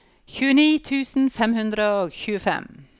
tjueni tusen fem hundre og tjuefem